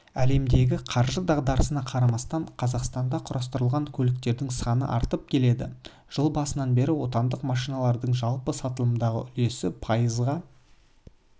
әлемдегі қаржы дағдарысына қарамастан қазақстанда құрастырылған көліктердің саны артып келеді жыл басынан бері отандық машиналардың жалпы сатылымдағы үлесі пайызға жеткен